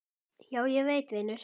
Já, ég veit vinur.